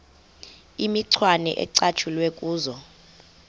imicwana ecatshulwe kuzo